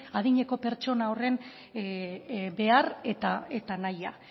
adineko pertsona horren behar eta nahia